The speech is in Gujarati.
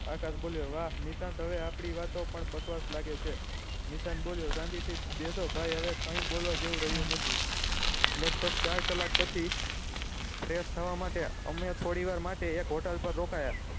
આકાશ બોલ્યો વાહ નિશાંત હવે આપળી વાતો પણ બકવાસ લાગે છે નિશાંત બોલ્યો શાંતિ થી બેસો ક્યાય બોલવા જેવું રહ્યું નથી લગભગ ચાર કલાક પછી fresh થવા માટે અમે થોડી વાર માટે એક હોટેલ મા રોકાય